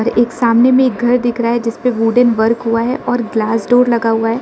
एक सामने मे एक घर दिख रहा है जिस पे वुडेन वर्क हुआ है और ग्लास डोर लगा हुआ है।